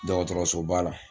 Dɔgɔtɔrɔsoba la